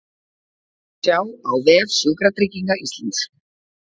Sjá á vef Sjúkratrygginga Íslands